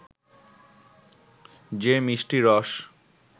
যে মিষ্টি রস